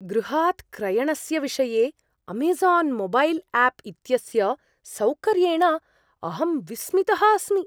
गृहात् क्रयणस्य विषये अमेज़ान् मोबैल् आप् इत्यस्य सौकर्येण अहं विस्मितः अस्मि।